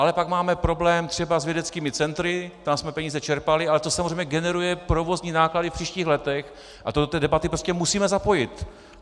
Ale pak máme problém třeba s vědeckými centry, tam jsme peníze čerpali, ale to samozřejmě generuje provozní náklady v příštích letech a to do té debaty prostě musíme zapojit.